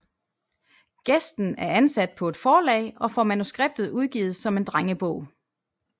Gæsten er ansat på et forlag og får manuskriptet udgivet som en drengebog